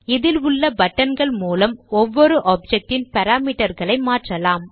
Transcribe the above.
இதில் உள்ள buttonகள் மூலம் ஒவ்வொரு ஆப்ஜெக்ட் ன் பாராமீட்டர் களை மாற்றலாம்